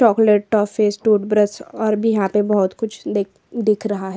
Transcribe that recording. Chocolate toffees toothbrush और भी यहाँ तो बहुत कुछ दिख रहा है।